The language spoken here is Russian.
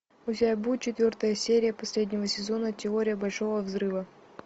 у тебя будет четвертая серия последнего сезона теория большого взрыва